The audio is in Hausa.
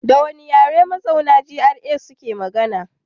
Da wane yare mazauna GRA suke magana?